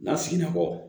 N'a siginna kɔ